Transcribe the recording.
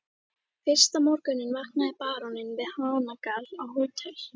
Fyrsta morguninn vaknaði baróninn við hanagal á Hótel